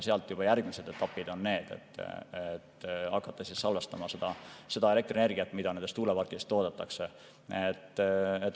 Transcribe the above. Sealt juba järgmised etapid on need, et hakata salvestama seda elektrienergiat, mida tuuleparkides toodetakse.